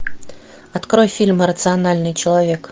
открой фильм рациональный человек